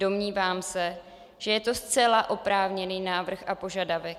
"Domnívám se, že je to zcela oprávněný návrh a požadavek.